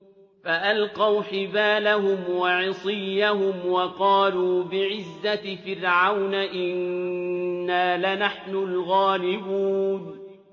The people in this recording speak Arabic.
فَأَلْقَوْا حِبَالَهُمْ وَعِصِيَّهُمْ وَقَالُوا بِعِزَّةِ فِرْعَوْنَ إِنَّا لَنَحْنُ الْغَالِبُونَ